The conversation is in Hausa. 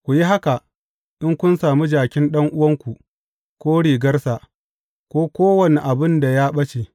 Ku yi haka in kun sami jakin ɗan’uwanku, ko rigarsa, ko kowane abin da ya ɓace.